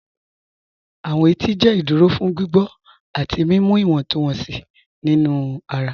Awọn ètì jẹ́ ìdúró fún gbígbọ̀ àti mímú ìwọ̀ntúnwọ̀nsí nínu ara.